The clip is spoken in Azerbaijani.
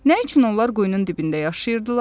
Nə üçün onlar quyunun dibində yaşayırdılar?